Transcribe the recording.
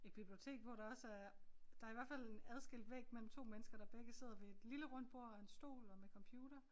Et bibliotek hvor der også er der i hvert fald en adskilt væg mellem 2 mennesker der begge sidder ved et lille rundt bord og en stol og med computer